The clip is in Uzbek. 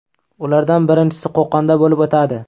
Ulardan birinchisi Qo‘qonda bo‘lib o‘tadi.